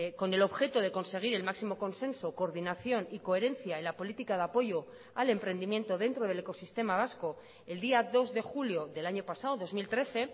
con el objeto de conseguir el máximo consenso coordinación y coherencia en la política de apoyo al emprendimiento dentro del ecosistema vasco el día dos de julio del año pasado dos mil trece